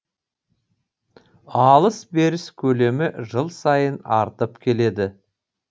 алыс беріс көлемі жыл сайын артып келеді